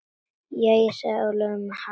Jæja, sagði Ólafur með hægð.